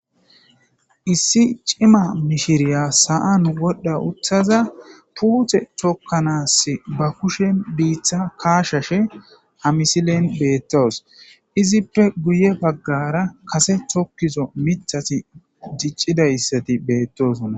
issi cima mishiriya sa7an godda uththaza puuthe chokkanaass ba kushe biiththa kaashashe hamisilen beettoos izippe guye baggara kase chokkizo mithati diccida ssati beettosonna